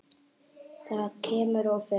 Það kemur og fer.